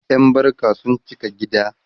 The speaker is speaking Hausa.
ƴan barka sun cika gida